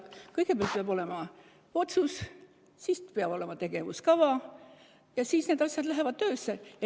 Kõigepealt peab olema otsus, siis peab olema tegevuskava ja siis need asjad lähevad töösse.